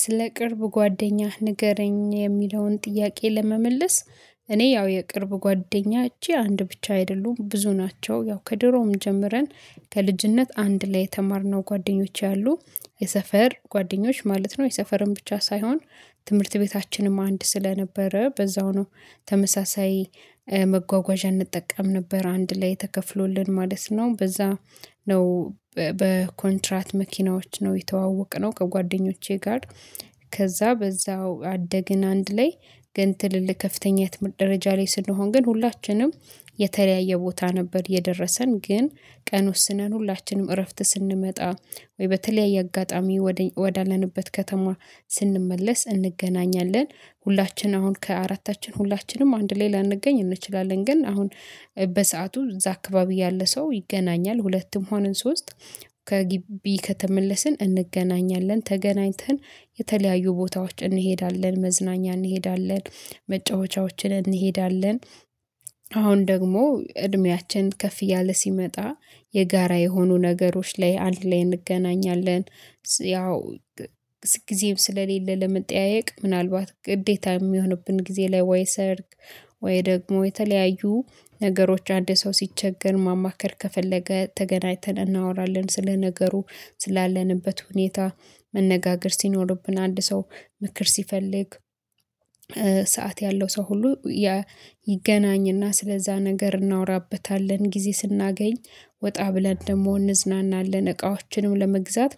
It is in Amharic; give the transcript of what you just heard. ስለ ቅርብ ጓደኛህ ንገረኝ የሚለውን ጥያቄ ለመመለስ እኔ ያው የቅርብ ጓደኞቼ አንድ ብቻ አይደሉም ብዙ ናቸው። ያው ከድሮም ጀምረን ከልጅነት አንድ ላይ የተማርነው ጓደኞቼ አሉ የሰፈር ጓደኞች ማለት ነው። የሰፈርን ብቻ ሳይሆን ትምህርት ቤታችንም አንድ ስለነበረ በዛው ነው። ተመሳሳይ መጓጓዣ እንጠቀም ነበር አንድ ላይ ተከፍሎልን ማለት ነው በዛ ነው በኮንትራት መኪናዎች ነው የተዋወቅነው ከጓደኞቼ ጋር። ከዛ በዛው አደግን አንድ ላይ ግን ትልልህ ከፍተኛ ትምህርት ደረጃ ላይ ስንሆን ግን ሁላችንም የተለያየ ቦታ ነበር የደረሰን ግን ቀን ወስነን ሁላችንም እረፍት ስንመጣ ወይ በተለያየ አጋጣሚ ወዳለንበት ከተማ ስንመለስ እንገናኛለን። ሁላችንም አሁን ከአራታችን ሁላችንም አንድ ላይ ላንገኝ እንችላለን ግን አሁን በሰአቱ እዛ አካባቢ ያለ ሰው ይገናኛል ሁለትም ሆነን ሶስት ከግቢ ከተመለስን እንገናኛለን ተገናኝተን የተለያዩ ቦታዎች እንሄዳለን መዝናኛ እንሄዳለን። መጫወቻዎችን እንሄዳለን አሁን ደግሞ እድሜያችን ከፍ እያለ ሲመጣ የጋራ የሆኑ ነገሮች ላይ አንድ ላይ እንገናኛለን። ያው ጊዜም ስለሌለ ለመጠያየቅ ምናልባት ግዴታ እሚሆንብን ጊዜ ላይ ወይ ሰርግ ወይ ደግሞ የተለያዩ ነገሮች አንድ ሰው ሲቸገር ማማከር ከፈለገ ተገናኝተን እናወራለን ስለ ነገሩ ስላለንበት ሁኔታ መነጋገር ሲኖርብን አንድ ሰው ምክር ሲፈልግ ሰዓት ያለው ሰው ሁሉ ይገናኝና ስለዛ ነገር እናወራበታለን። ጊዜ ስናገኝ ወጣ ብለን ደግሞ እንዝናናለን እቃዎችንም ለመግዛት